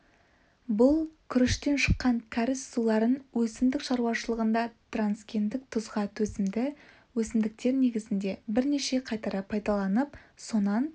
бұл күріштен шыққан кәріз суларын өсімдік шаруашылығында трансгендік тұзға төзімді өсімдіктер негізінде бірнеше қайтара пайдаланып сонан